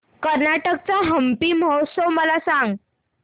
कर्नाटक चा हम्पी महोत्सव मला सांग